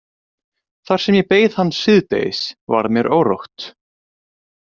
Þar sem ég beið hans síðdegis varð mér órótt.